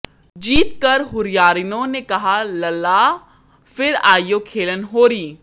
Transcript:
जीत कर हुरियारिनों ने कहा लला फिर आइयो खेलन होरी